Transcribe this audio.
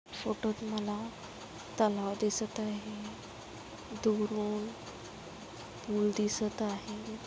फोटोत मला तलाव दिसत आहे. दुरून पूल दिसत आहे.